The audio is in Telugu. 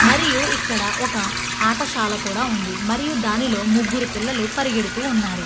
మరియు ఇక్కడ ఒక ఆటశాల కూడా ఉంది మరియు దానిలో ముగ్గురు పిల్లలు పరిగెడుతూ ఉన్నారు.